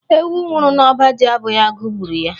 Ewu nwụrụ n’ọba ji abụghị agụ gburu ya